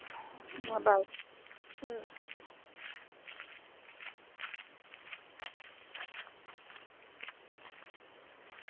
હા બાઈ